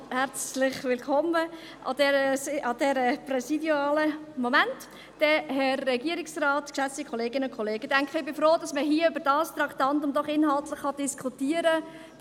Ich denke, ich bin froh, dass man hier über dieses Traktandum doch inhaltlich diskutieren kann.